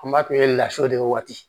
An b'a kun ye lafiya de waati